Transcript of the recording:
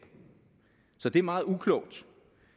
så det er meget uklogt